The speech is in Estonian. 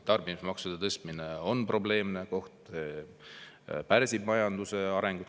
Tarbimismaksude tõstmine on probleemne koht, pärsib majanduse arengut.